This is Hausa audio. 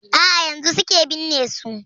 A'a yanzun suke binne su.